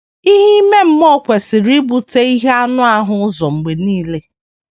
Ihe ime mmụọ kwesịrị ibute ihe anụ ahụ ụzọ mgbe nile.